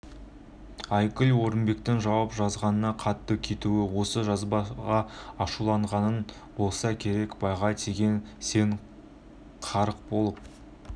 айгүл орынбектің жауап жазғанда қатты кетуі осы жазбаға ашуланғаннан болса керек байға тиген сен қарық болып